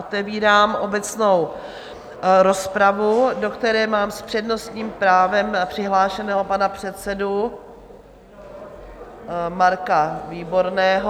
Otevírám obecnou rozpravu, do které mám s přednostním právem přihlášeného pana předsedu Marka Výborného.